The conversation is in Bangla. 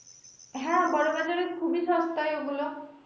হ্যা বড় বাজারের খুবই সস্তায় ওগুলা।